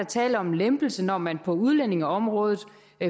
tale om en lempelse når man på udlændingeområdet